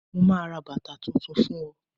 mo ma ra bàtà Titun fún o